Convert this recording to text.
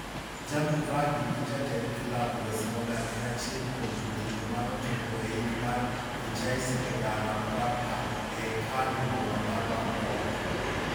Jamie Vardy gi jatend klab Wes Morgan en achiel kuom jotugomanochopo eik mar Vichai Srivaddhanaprabha e hekalu boma mar Bangkok.